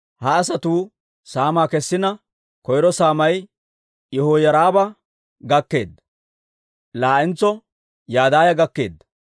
Ha asatuu saamaa kessina, koyro saamay Yihoyaariba gakkeedda. Laa"entso Yadaaya gakkeedda.